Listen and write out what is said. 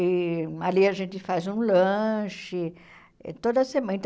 E ali a gente faz um lanche toda semana. Então